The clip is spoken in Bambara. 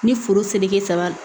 Ni foro seleke saba